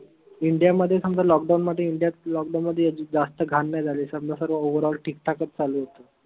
india मध्ये समजा lockdown मध्ये india त lockdown मध्ये जास्त घान नाई झाले समजा सर्व overall ठीक ठाकच चालू होत.